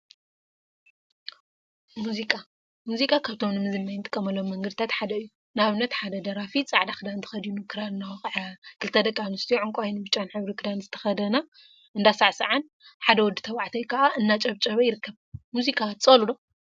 ሙዚቃ ሙዚቃ ካብቶም ንመዝናነይ እንጥቀመሎም መንገዲታት ሓደ እዩ፡፡ ንአብንት ሓደ ደራፊ ፃዕዳ ክዳን ተከዲኑ ክራር እናወቅዐ፣ ክልተ ደቂ አንስትዮ ዕንቋይን ብጫን ሕብሪ ክዳን ዝተከደና እንዳሳዕሳዓን ሓደ ወዲ ተባዕታይ ከዓ እናጨብጨበ ይርከብ፡፡ ሙዚቃ ትፀልኡ ዶ?